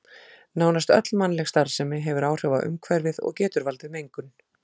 Nánast öll mannleg starfsemi hefur áhrif á umhverfið og getur valdið mengun.